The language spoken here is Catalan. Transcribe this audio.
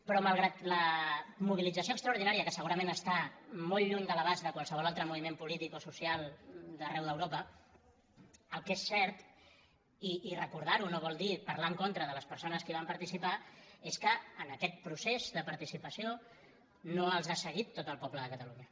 però malgrat la mobilització extraordinària que se·gurament està molt lluny de l’abast de qualsevol al·tre moviment polític o social d’arreu d’europa el que és cert i recordar·ho no vol dir parlar en contra de les persones que hi van participar és que en aquest procés de participació no els ha seguit tot el poble de catalunya